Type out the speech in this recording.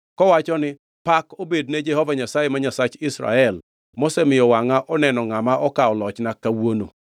kowacho ni, ‘Pak obed ne Jehova Nyasaye, ma Nyasach Israel mosemiyo wangʼa oneno ngʼama okawo lochna kawuono.’ ”